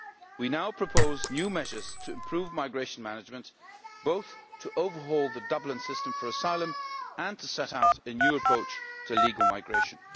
We now propose new measures to improve migration management both to overhaul the Dublin system for asylum and to set out a new approach to legal migration.